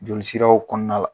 Jolisiraw kɔnɔna la